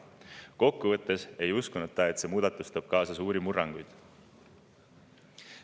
Kokkuvõttes ei uskunud ta, et see muudatus tooks kaasa suuri murranguid.